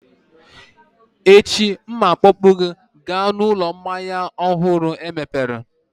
Echi, M ga-akpọpụ gị gaa n'ụlọ mmanya ọhụrụ emepere